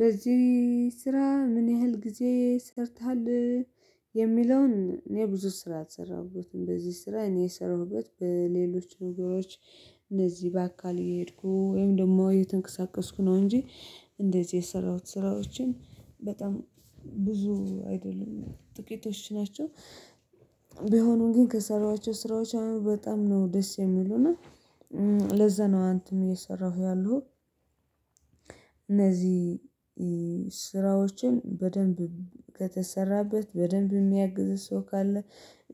በዚህ ስራ ምን ያህል ጊዜ ሰርተሃል? የሚለውን እኔ ብዙ ስራ አልሰራሁበትም በዚህ ስራ እኔ የሰራሁበት በሌሎች ነገሮች እነዚህ በአካል እየሄድኩ ወይም ደግሞ እየተንቀሳቀስኩ ነው እንጂ እንደዚህ የሰራሁት ስራዎችን በጣም ብዙ አይደለም ጥቂቶች ናቸው። ቢሆኑም ግን ከሰራኋቸው ስራዎች አሁን በጣም ነው ደስ የሚሉና ለዛ ነው አንተም እየሰራሁ ያለሁ። እነዚህ ስራዎችን በደንብ ከተሰራበት በደንብ የሚያግዝ ሰው ካለ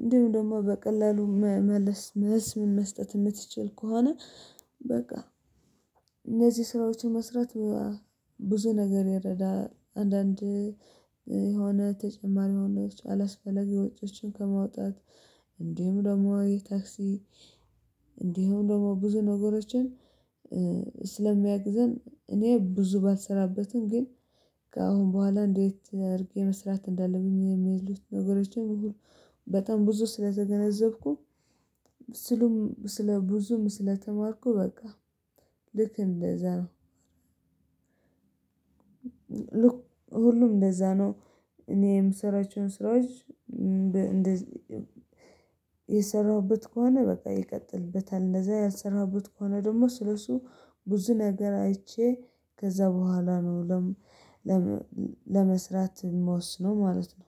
እንዲሁ ደግሞ በቀላሉ መመለስ መልስ መስጠት የምትችል ከሆነ በቃ እነዚህ ስራዎች መስራት ብዙ ነገር ይረዳል። አንዳንድ የሆነ ተጨማሪ ወጭ አላስፈለግ የውጪዎችን ከማውጣት እንዲህም ደግሞ ታክሲ እንዲህም ደግሞ ብዙ ነገሮችን ስለሚያግዘን እኔ ብዙ ባልሰራበትም ግን ከአሁን በኋላ እንዴት አድርጌ መስራት እንዳለብን የሚሉት ነገሮችን በጣም ብዙ ስለተገነዘብኩ ስሉም ስለ ብዙም ስለተማርኩ በቃ ልክ እንደዛ ነው። ልክ ሁሉም እንደዛ ነው። እኔ ምሰራቸው ስራዎች የሰራሁበት ከሆነ በቃ ይቀጥልበታል። እንደዛ ያልሰራሁበት ከሆነ ደግሞ ስለሱ ብዙ ነገር አይቼ ከዛ በኋላ ነው ለም ለመስራት መወስነው ማለት ነው